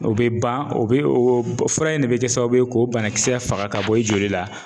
O be ban o be oo b fura in de be kɛ sababu ye k'o banakisɛ faga k'a bɔ i joli la